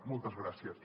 moltes gràcies